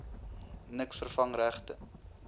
niks vervang regte